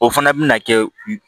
O fana bɛ na kɛ